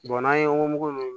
n'an ye woyo